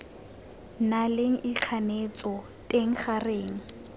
na leng ikganetso teng gareng